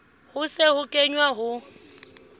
ho se ho kenwe ho